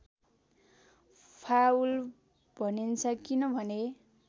foul भनिन्छ किनभने